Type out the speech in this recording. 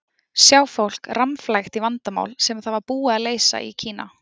Sjá fólk rammflækt í vandamál sem var BÚIÐ AÐ LEYSA í Kína.